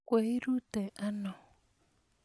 kweruite ano?